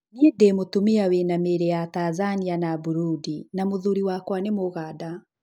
Niĩ ndĩ mũtumia wĩna mĩri ya Tanzania na Burudi na mũthuri wakwa nĩ Mũganda.